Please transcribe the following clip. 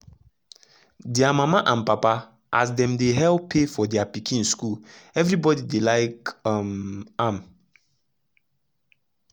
dia mama and papa as dem dey help pay for their pikin school everybody dey like um am.